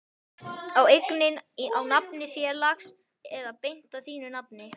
Er eignin á nafni félags eða beint á þínu nafni?